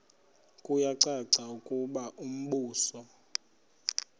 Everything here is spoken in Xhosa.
kuyacaca ukuba umbuso